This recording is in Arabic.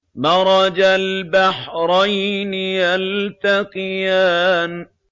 مَرَجَ الْبَحْرَيْنِ يَلْتَقِيَانِ